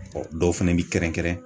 dɔw fɛnɛ bi kɛrɛnkɛrɛn